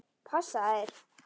Passa þeir?